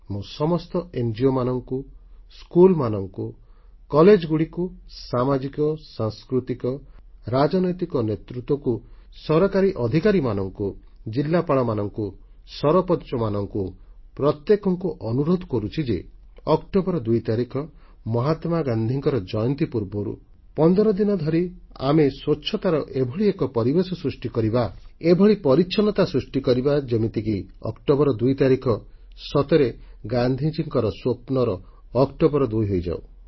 ମୁଁ ସମସ୍ତ ଙ୍ଗୋ ମାନଙ୍କୁ ସ୍କୁଲମାନଙ୍କୁ କଲେଜଗୁଡ଼ିକୁ ସାମାଜିକ ସାଂସ୍କୃତିକ ରାଜନୈତିକ ନେତୃତ୍ୱକୁ ସରକାରୀ ଅଧିକାରୀମାନଙ୍କୁ ଜିଲ୍ଲାପାଳମାନଙ୍କୁ ସରପଞ୍ଚମାନଙ୍କୁ ପ୍ରତ୍ୟେକଙ୍କୁ ଅନୁରୋଧ କରୁଛି ଯେ ଅକ୍ଟୋବର 2 ତାରିଖ ମହାତ୍ମାଗାନ୍ଧୀଙ୍କ ଜୟନ୍ତୀ ପୂର୍ବରୁ 15 ଦିନ ଧରି ଆମେ ସ୍ୱଚ୍ଛତାର ଏଭଳି ଏକ ପରିବେଶ ସୃଷ୍ଟି କରିବା ଏଭଳି ପରିଚ୍ଛନ୍ନତା ସୃଷ୍ଟି କରିବା ଯେମିତିକି ଅକ୍ଟୋବର 2 ତାରିଖ ସତରେ ଗାନ୍ଧିଜୀଙ୍କ ସ୍ୱପ୍ନର ଅକ୍ଟୋବର 2 ହୋଇଯାଉ